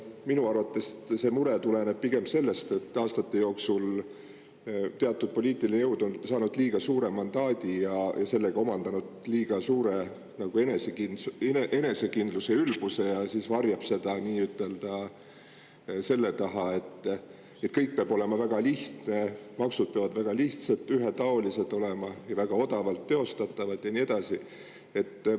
Minu arvates see mure tuleneb pigem sellest, et aastate jooksul on teatud poliitiline jõud saanud liiga suure mandaadi ja sellega omandanud liiga suure enesekindluse ja ülbuse ja varjab seda selle taha, et kõik peab olema väga lihtne, maksud peavad väga lihtsad, ühetaolised olema ja väga odavalt teostatavad ja nii edasi.